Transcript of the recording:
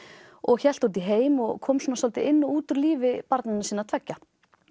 og hélt út í heim og kom svolítið inn og út úr lífi barnanna sinna tveggja